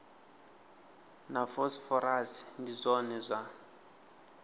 na phosphorus ndi zwone zwa